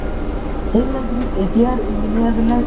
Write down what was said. সেইবিলাক bridge এতিয়াৰ engineer বিলাক